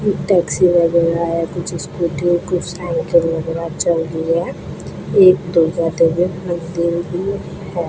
Taxi वगैरह है कुछ स्कूटी कुछ साइकिल वगैरह चल रही है है।